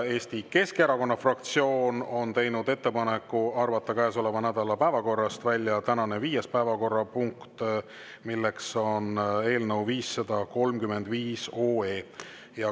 Eesti Keskerakonna fraktsioon on teinud ettepaneku arvata käesoleva nädala päevakorrast välja tänane viies päevakorrapunkt, eelnõu 535 arutelu.